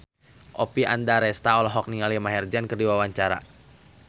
Oppie Andaresta olohok ningali Maher Zein keur diwawancara